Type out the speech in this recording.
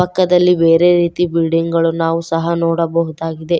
ಪಕ್ಕದಲ್ಲಿ ಬೇರೆ ರೀತಿಯ ಬಿಲ್ಡಿಂಗ್ ಗಳನ್ನು ನಾವು ಸಹ ನೋಡಬಹುದಾಗಿದೆ.